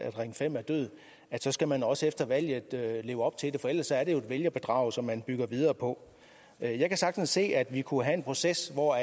at ring fem er død så skal man også efter valget leve op til det for ellers er det jo er vælgerbedrag som man bygger videre på jeg kan sagtens se at vi kunne have en proces hvor